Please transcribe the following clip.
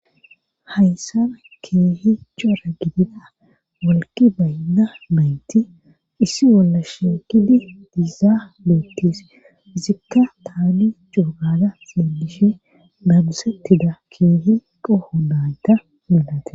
haysana keehi cora gidida walgi baynna maynti issi wolla sheekidi dizaa boottis izikka taani coogada seedishe babusettida keehi qoho daayta milate